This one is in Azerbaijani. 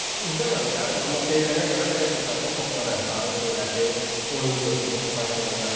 İzləməmişəm, amma deyilənə görə texnikası, topla rəftarı, sürəti, oyun görüşü də kifayət qədər yaxşıdır.